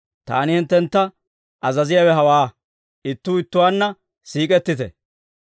Taani hinttentta azaziyaawe hawaa; ittuu ittuwaanna siik'ettite.